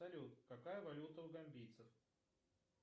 салют какая валюта у гамбийцев